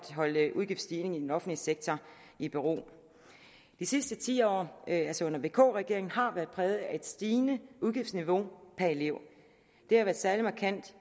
holde udgiftsstigningen i den offentlige sektor i ro de sidste ti år altså under vk regeringen har været præget af et stigende udgiftsniveau per elev det har været særlig markant